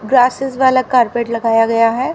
Grasses वाला carpet लगाया गया है।